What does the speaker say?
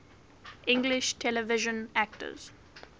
english television actors